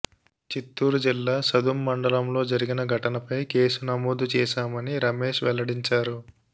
చిత్తూరు జిల్లా సదుం మండలంలో జరిగిన ఘటనపై కేసు నమోదు చేశామని రమేశ్ వెల్లడించారు